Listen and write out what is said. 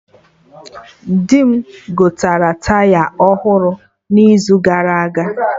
Di mụ gotere Taya ọhụrụ n'izu gara aga